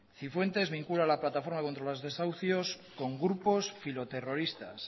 cifuentes vincula la plataforma contra los desahucios con grupos filoterroristas